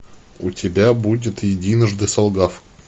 у тебя будет единожды солгав